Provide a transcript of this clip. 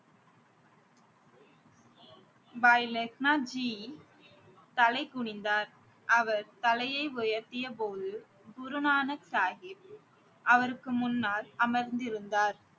பாய் லெஹனாஜி தலை குனிந்தார் அவர் தலையை உயர்த்தியபோது குருநானக் சாஹிப் அவருக்கு முன்னால் அமர்ந்திருந்தார்